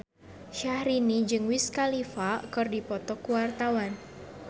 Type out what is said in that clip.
Syahrini jeung Wiz Khalifa keur dipoto ku wartawan